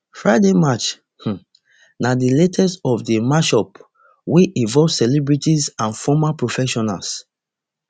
friday match um na di latest of di matchups wey involve celebrities and former professionals